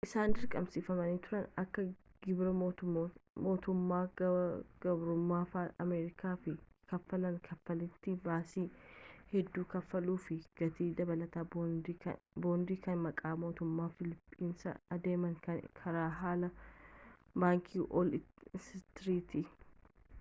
isaan dirqamsiifamanii turani akka gibiraa mootummaa gabromfataa ameerikaaf kaffalaan kaffaltii baasii hedduu kaffaluuf fi gatii dabalata bondii kan maqaa mootummaa filiipinsiin adeeme kan karaa haala baankii wool istritii